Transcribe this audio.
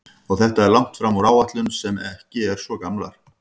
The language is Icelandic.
Og þetta er langt fram úr áætlunum sem ekki eru svo gamlar?